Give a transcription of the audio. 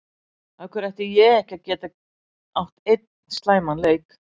Af hverju ætti ég ekki að geta átt einn slæman leik?